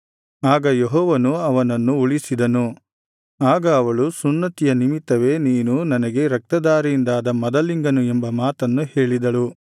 ಆಗ ಯೆಹೋವನು ಅವನನ್ನು ಉಳಿಸಿದನು ಆಗ ಅವಳು ಸುನ್ನತಿಯ ನಿಮಿತ್ತವೇ ನೀನು ನನಗೆ ರಕ್ತಧಾರೆಯಿಂದಾದ ಮದಲಿಂಗನು ಎಂಬ ಮಾತನ್ನು ಹೇಳಿದಳು